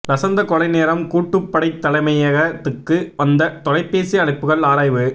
லசந்த கொலை நேரம் கூட்டுப்படைத் தலைமையகத்துக்கு வந்த தொலைபேசி அழைப்புக்கள் ஆராய்வு